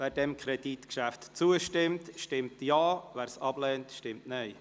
Wer diesem Kredit zustimmt, stimmt Ja, wer diesen ablehnt, stimmt Nein.